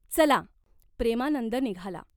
चला." प्रेमानंद निघाला.